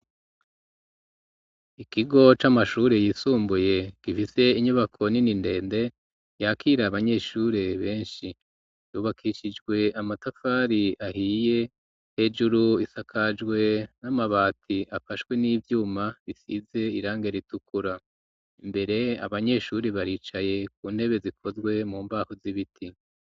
Ikigo c'amashuri yisumbuye ,gifise inyubako nini ndende, yakira abanyeshure benshi ,yubakishijwe amatafari ahiye ,hejuru isakajwe n'amabati, afashwe n'ivyuma bisize irangi ritukura ,imbere abanyeshuri baricaye ku ntebe zikozwe mu mbaho z'ibiti.